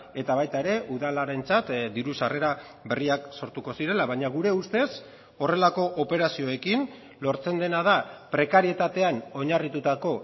eta baita ere udalarentzat diru sarrera berriak sortuko zirela baina gure ustez horrelako operazioekin lortzen dena da prekarietatean oinarritutako